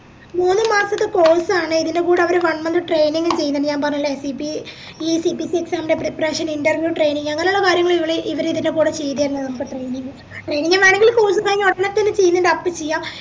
മൂന്നുമാസത്തെ course ആണ് ഇതിന്റെ കൂടെ അവര് one month training ചെയ്യന്നുണ്ട് ഞാപറഞ്ഞില്ലേ സിപി ഈ CPC exam ൻറെ preparation interview training അങ്ങനെയുള്ള കാര്യങ്ങള് ഇവര് ഇവരിതിന്റെ കൂടെ ചെയ്തീർന്നിൻഡ് നമുക്ക് training വേണെങ്കിൽ course കഴിഞ്ഞഉടനെ തന്നെ ചെയ്യാ